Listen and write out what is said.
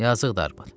Yazıqdır arvad.